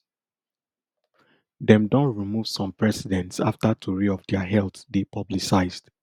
dem don remove some presidents afta tori of dia health dey publicised